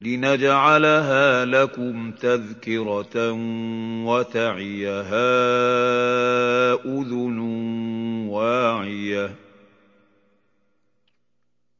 لِنَجْعَلَهَا لَكُمْ تَذْكِرَةً وَتَعِيَهَا أُذُنٌ وَاعِيَةٌ